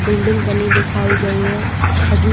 building बनी दिखाई गई है खजूर --